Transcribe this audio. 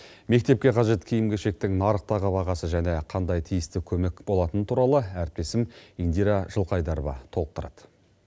мектепке қажет киім кешектің нарықтағы бағасы және қандай тиісті көмек болатыны туралы әріптесім индира жылқайдарова толықтырады